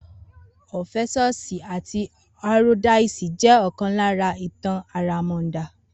Orpheus àti euroydice jẹ́ òkan lára ìtàn àràmàndà